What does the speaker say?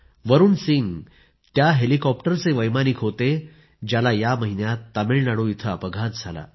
वरुण सिंह त्या हेलिकॉप्टरचे वैमानिक होते ज्याला या महिन्यात तामिळनाडू इथे अपघात झाला